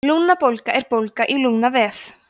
lungnabólga er bólga í lungnavef